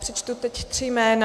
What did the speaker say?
Přečtu teď tři jména.